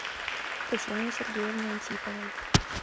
татьяне сергеевне антиповой